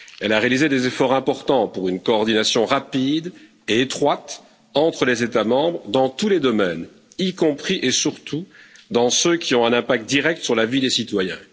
Elle a réalisé des efforts importants pour une coordination rapide et étroite entre les États membres dans tous les domaines, y compris et surtout dans ceux qui ont un impact direct sur la vie des citoyens.